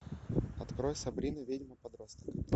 открой сабрина ведьма подросток